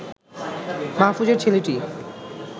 মাহফুজের ছেলেটি